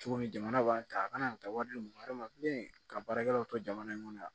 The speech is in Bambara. Cogo min jamana b'a ta a kana taa wari di mɔgɔ wɛrɛ ma ka baarakɛlaw to jamana in kɔnɔ yan